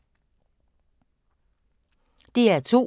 DR2